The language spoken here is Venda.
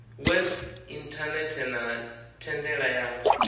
web inthanethe na thendela ya